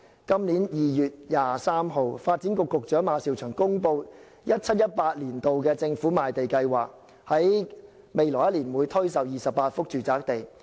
今年2月23日，發展局局長馬紹祥公布 2017-2018 年度政府賣地計劃，來年推售28幅住宅地。